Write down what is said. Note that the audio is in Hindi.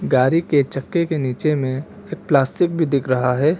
गाड़ी के चक्के के नीचे में प्लास्टिक भी दिख रहा है।